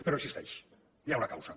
però existeix hi ha una causa